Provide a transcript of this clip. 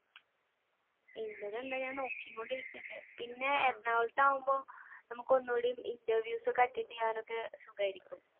എന്റേത് തന്നെ ഞാൻ നോക്കി കൊണ്ടിരിക്കുന്നുണ്ട് പിന്നെ എറണാകുളത്താകുമ്പോൾ നമുക്ക് ഒന്നൂടി interviews ഒക്കെ attend ചെയ്യാനൊക്കെ സുഖമായിരിക്കും.